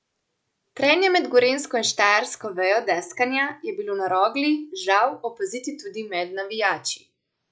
Trenja med gorenjsko in štajersko vejo deskanja je bilo na Rogli, žal, opaziti tudi med navijači.